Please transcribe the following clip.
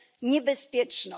niebezpieczną